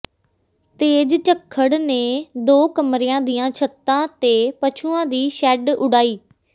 ਤੇਜ਼ ਝੱਖੜ ਨੇ ਦੋ ਕਮਰਿਆਂ ਦੀਆਂ ਛੱਤਾਂ ਤੇ ਪਸ਼ੂਆਂ ਦੀ ਸ਼ੈੱਡ ਉਡਾਈ